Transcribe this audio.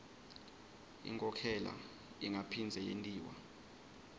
inkhokhela ingaphindze yentiwa